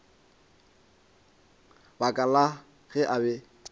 baka la ge a be